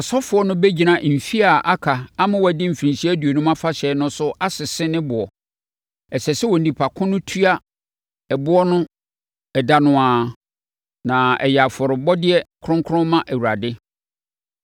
ɔsɔfoɔ no bɛgyina mfeɛ a aka ama wɔadi Mfirinhyia Aduonum Afahyɛ no so asese ne boɔ. Ɛsɛ sɛ onipa ko no tua ɛboɔ no ɛda no ara, na ɛyɛ afɔrebɔdeɛ kronkron ma Awurade.